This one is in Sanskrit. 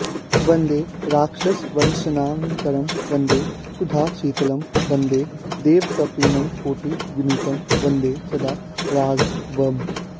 वन्दे राक्षसवंशनाशनकरं वन्दे सुधाशीतलं वन्दे देवकपीन्द्रकोटिविनुतं वन्दे सदा राघवम्